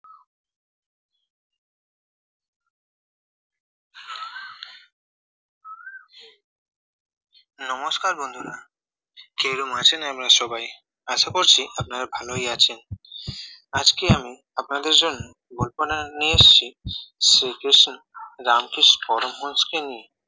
নমস্কার বন্ধুরা কিরকম আছেন আপনারা সবাই আশা করছি আপনারা ভালোই আছেন আজকে আমি আপনাদের জন্য গল্পনা নিয়ে এসেছি শ্রীকৃষ্ণ রামকৃষ্ণ পরমহংসকে নিয়ে